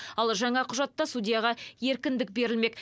ал жаңа құжатта судьяға еркіндік берілмек